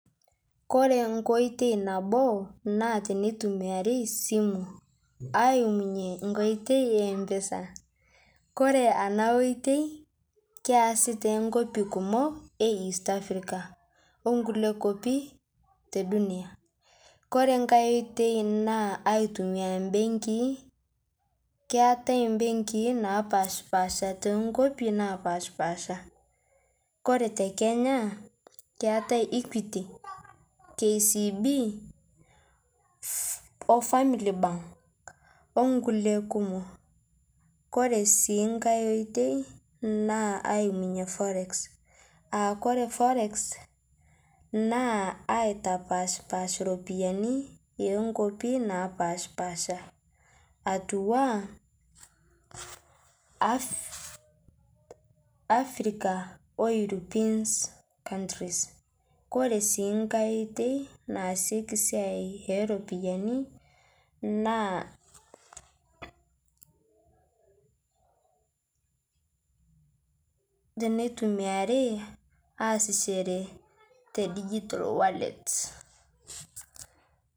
Kore nkoitei naboo naa teneitumiarii simuu aimunye nkoitei e mpesa kore ana oitei keasi te nkopi kumoo east Africa onkulie kopii te dunia, kore ng'ai oitei naa aitumia mbengii keatai mbengii napashpaasha tenkopii napashpaasha kore te Kenya keatai Equity , KCB oo family bank onkulie kumoo Kore sii ng'ai oitei naa aimunye forex akore forex naa aitapashpaash ropiyani enkopii napashpaasha atuwaa Africa oo European countries, kore sii ng'ai oitei naasieki siai eropiyani naa , naa teneitumiarii aasichere te digital wallets.